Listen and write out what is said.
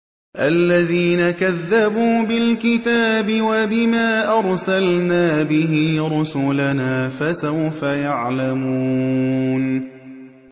الَّذِينَ كَذَّبُوا بِالْكِتَابِ وَبِمَا أَرْسَلْنَا بِهِ رُسُلَنَا ۖ فَسَوْفَ يَعْلَمُونَ